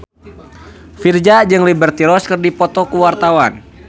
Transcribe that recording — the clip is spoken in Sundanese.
Virzha jeung Liberty Ross keur dipoto ku wartawan